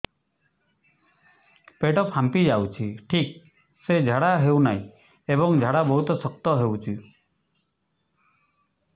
ପେଟ ଫାମ୍ପି ଯାଉଛି ଠିକ ସେ ଝାଡା ହେଉନାହିଁ ଏବଂ ଝାଡା ବହୁତ ଶକ୍ତ ହେଉଛି